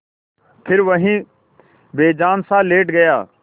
फिर वहीं बेजानसा लेट गया